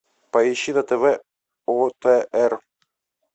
поищи на тв отр